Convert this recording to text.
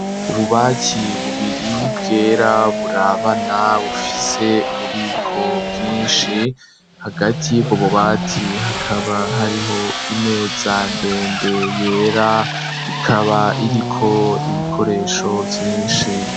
Ububati bubiri bwera burabana bufise ububiko bwinshi, hagati yubwo bubati hakaba hariho imeza ndende yera, ikaba iriko ibikoresho vyinshi.